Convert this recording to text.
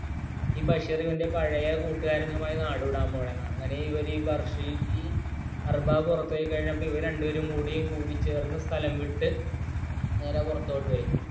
ഈ ബഷീർ ഇവൻറെ പഴയ കൂട്ടുകാരനുമായി നാടുവിടാൻ പോകുന്നു എന്ന് ഈ ബഷീർ ഈ അറബാബ് ഉറപ്പായി കഴിഞ്ഞപ്പോൾ രണ്ടുപേരും കൂടിച്ചേര്‍ന്ന സ്ഥലം വിട്ട് നേരെ പുരതോട്ടു പോയി